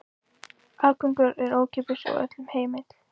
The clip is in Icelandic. Aðgangur er ókeypis og öllum heimill.